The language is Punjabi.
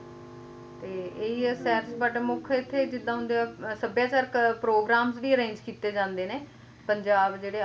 ਤੇ ਇਹੀ ਆ but ਮੁੱਖ ਇੱਥੇ ਜਿਦਾਂ ਹੁਣ ਸੱਭਿਆਚਾਰ programme ਵੀ arrange ਕੀਤੇ ਜਾਂਦੇ ਨੇ ਪੰਜਾਬ ਜਿਹੜੇ